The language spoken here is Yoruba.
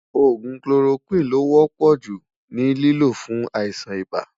ògún kiloroquine ló wò pò jù ní lìló fún àìsàn ibà